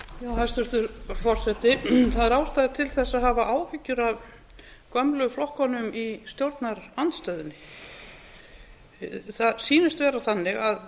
hæstvirtur forseti það er ástæða til að hafa áhyggjur af gömlu flokkunum í stjórnarandstöðunni það sýnist vera þannig að